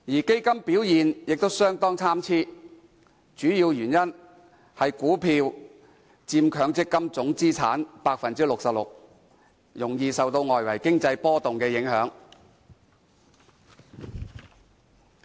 基金表現亦相當參差，主要原因是股票佔強積金總資產 66%， 容易受到外圍經濟波動影響。